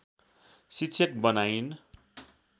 शिक्षक बनाइन्